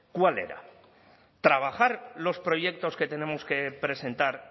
cuál era trabajar los proyectos que tenemos que presentar